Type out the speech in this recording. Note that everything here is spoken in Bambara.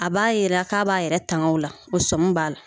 A b'a jira k'a b'a yɛrɛ tanga o la o sɔmi b'a la